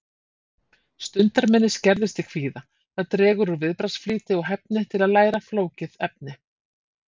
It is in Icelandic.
Stundarminni skerðist í kvíða, það dregur úr viðbragðsflýti og hæfni til að læra flókið efni.